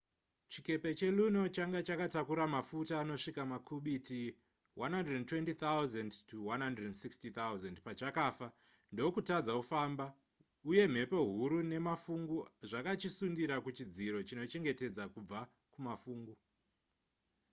chikepe cheluno changa chakatakura mafuta anosvika makubiti 120 000-160 000 pachakafa ndokutadza kufamba uye mhepo huru nemafungu zvakachisundira kuchidziro chinochengetedza kubva kumafungu